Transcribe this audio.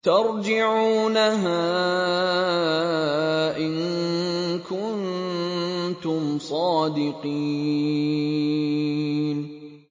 تَرْجِعُونَهَا إِن كُنتُمْ صَادِقِينَ